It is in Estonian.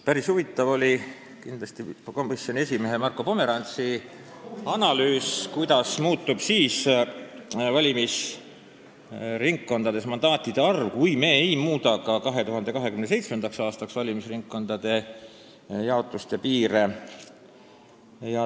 Päris huvitav oli kindlasti komisjoni esimehe Marko Pomerantsi analüüs, kuidas muutub valimisringkondades mandaatide arv siis, kui me ei muuda ka 2027. aastaks valimisringkondade jaotust ja piire.